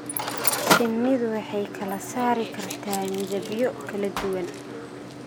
Shinnidu waxay kala saari kartaa midabyo kala duwan.